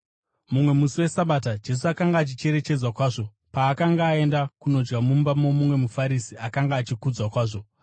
Mumwe musi weSabata, Jesu akanga achicherechedzwa kwazvo paakanga aenda kundodya mumba momumwe muFarisi akanga achikudzwa kwazvo.